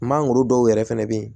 Mangoro dɔw yɛrɛ fɛnɛ bɛ yen